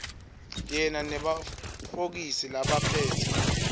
yena nabofokisi labaphetse